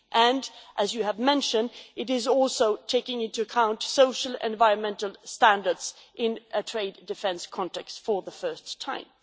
Also, as you have mentioned, it is taking into account social and environmental standards in a trade defence context for the first time.